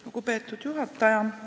Lugupeetud juhataja!